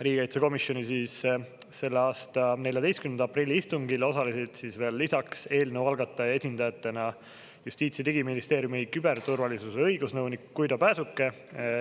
Riigikaitsekomisjoni selle aasta 14. aprilli istungil osalesid lisaks eelnõu algataja esindajatena Justiits‑ ja Digiministeeriumi küberturvalisuse õigusnõunik Guido Pääsuke,